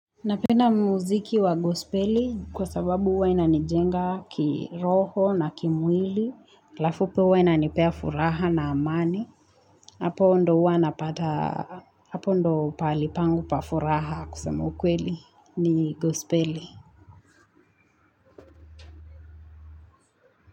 Napenda muziki wa gospeli kwa sababu huwa ina ni jenga kiroho na kimwili, halafu pia huwa inanipea furaha na amani, hapo ndio huwa na pata, hapo ndio pahalipangu pa furaha kusema ukweli ni gospeli.